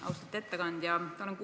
Austatud ettekandja!